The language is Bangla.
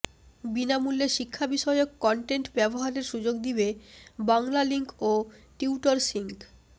বিনামূল্যে শিক্ষাবিষয়ক কনটেন্ট ব্যবহারের সুযোগ দিবে বাংলালিংক ও টিউটরসিঙ্ক